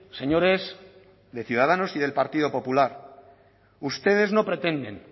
señores de ciudadanos y del partido popular ustedes no pretenden